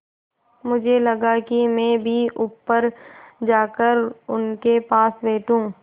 मुझे लगा कि मैं भी ऊपर जाकर उनके पास बैठूँ